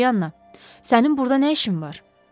Polyana, sənin burda nə işin var?